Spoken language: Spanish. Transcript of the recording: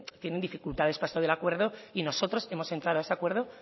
tienen dificultades para esto del acuerdo y nosotros hemos entrado a este acuerdo